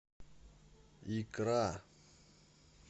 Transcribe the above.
икра